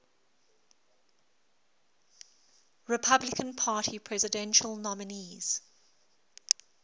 republican party presidential nominees